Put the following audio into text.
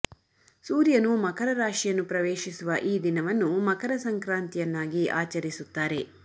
ಸೂರ್ಯನು ಮಕರ ರಾಶಿಯನ್ನು ಪ್ರವೇಶಿಸುವ ಈ ದಿನವನ್ನು ಮಕರ ಸಂಕ್ರಾಂತಿಯನ್ನಾಗಿ ಆಚರಿಸುತ್ತಾರೆ